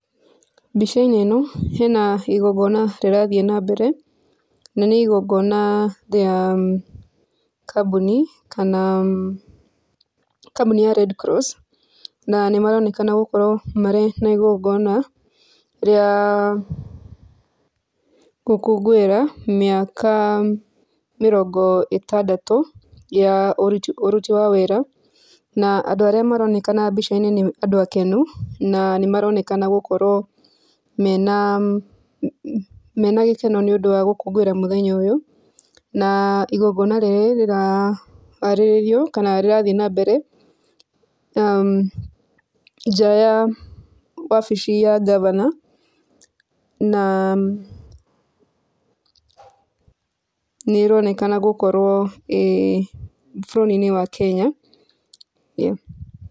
Mbica-inĩ ĩno ĩna igongona rirathiĩ na mbere, na nĩ igongona rĩa kambuni kana kambuni ya redcross na nĩ maroneka gũkorwo mena igongona rĩa gũkũngũĩra maĩka mĩrongo ĩtandatũ ya ũruti wa wĩra na andũ arĩa maronekana mbica-inĩ nĩ andũ akenu na nĩ maronekana gũkorwo mena gĩkeno nĩ ũndũ wa gũkũngũĩra mũthenya ũyũ. Na igongona rĩrĩ rĩraharĩrĩrio kana rĩrathiĩ na mbere nja ya wabiici ya ngabana na nĩ ĩronekana gũkorwo ĩ bũrũri-inĩ wa Kenya.